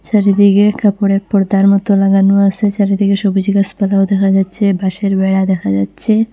চারিদিকে কাপড়ের পর্দার মতো লাগানো আসে সারিদিকে সবুজ গাসপালাও দেখা যাচ্ছে বাঁশের বেড়া দেখা যাচ্ছে।